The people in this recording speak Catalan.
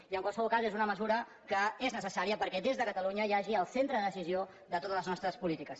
i en qualsevol cas és una mesura que és necessària perquè des de catalunya hi hagi el centre de decisió de totes les nostres polítiques